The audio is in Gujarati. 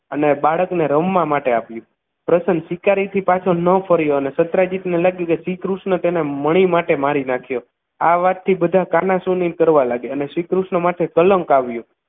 અને બાળકને રમવા માટે આપ્યું પ્રસન્ન શિકારી થી પાછો ન ફર્યો અને દત્રાજીત ને લાગ્યું કે શ્રીકૃષ્ણ તેને મણી માટે મારી નાખ્યો આ વાતથી બધા કાનાસુની કરવા લાગ્યા અને શ્રીકૃષ્ણ માટે કલંક આવ્યુ